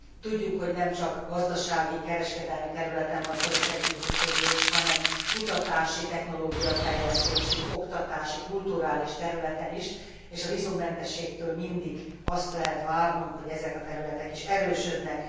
Tudjuk, hogy nem csak gazdasági, kereskedelmi területen van szoros együttműködés, hanem kutatási, technológiafejlesztési, oktatási, kulturális területen is, és a vízummentességtől mindig azt lehet várnunk, hogy ezek a területek is erősödnek.